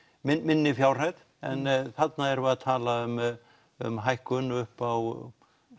minni fjárhæð en þarna erum við að tala um um hækkun upp á